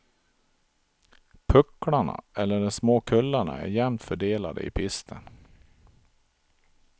Pucklarna, eller de små kullarna, är jämnt fördelade i pisten.